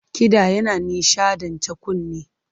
Kiɗa yana nishaɗanta kunne.